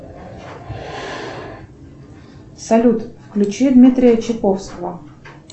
салют включи дмитрия чиповского